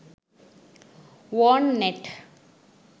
wormnet